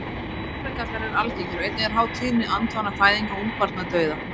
Hjartagallar eru algengir og einnig er há tíðni andvana fæðinga og ungbarnadauða.